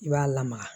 I b'a lamaga